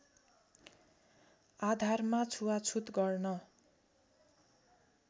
आधारमा छुवाछुत गर्न